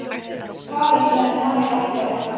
Karen sagði Maríu allt af létta.